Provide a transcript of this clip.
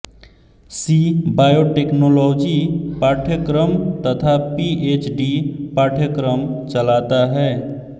सी biotechnology पाठ्यक्रम तथा P H D पाठ्यक्रम चलाता है